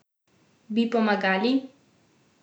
Bi pomagali?